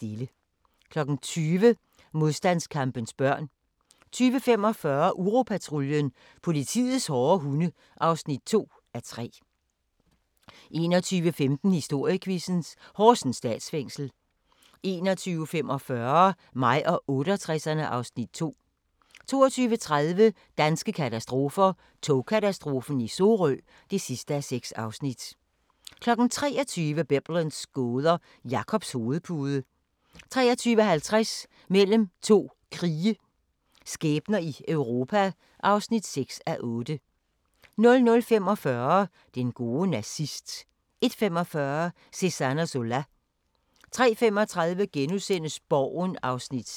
20:00: Modstandskampens børn 20:45: Uropatruljen – politiets hårde hunde (2:3) 21:15: Historiequizzen: Horsens Statsfængsel 21:45: Mig og 68'erne (Afs. 2) 22:30: Danske katastrofer – Togkatastrofen i Sorø (6:6) 23:00: Biblens gåder – Jakobs hovedpude 23:50: Mellem to krige – skæbner i Europa (6:8) 00:45: Den gode nazist 01:45: Cézanne og Zola 03:35: Borgen (6:30)*